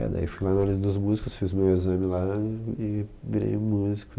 É, daí eu fui lá na União dos Músicos, fiz o meu exame lá e e virei músico.